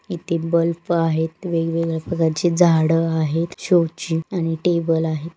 इथे बल्ब आहे वेगवेगळ्या प्रकारची झाडें आहेत शोची आणि टेबलं आहे.